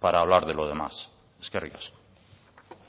para hablar de lo demás eskerrik asko